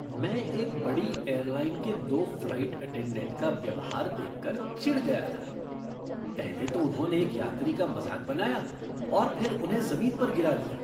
मैं एक बड़ी एयरलाइन के दो फ़्लाइट अटेंडेंट का व्यवहार देखकर चिढ़ गया था। पहले तो उन्होंने एक यात्री का मजाक बनाया और फिर उन्हें जमीन पर गिरा दिया।